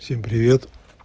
всем привет